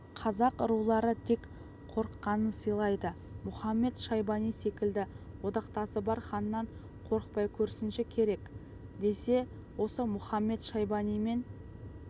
қазақ рулары тек қорыққанын сыйлайды мұхамед-шайбани секілді одақтасы бар ханнан қорықпай көрсінші керек десе осы мұхамед-шайбанимен